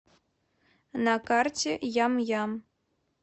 на карте ям ям